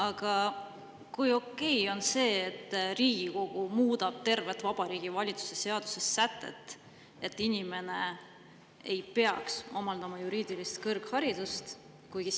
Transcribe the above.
Aga kui okei on see, et Riigikogu muudab tervet Vabariigi Valitsuse seaduse sätet, et inimene ei peaks omandama juriidilist kõrgharidust?